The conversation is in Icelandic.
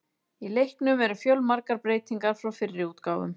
Í leiknum eru fjölmargar breytingar frá fyrri útgáfum.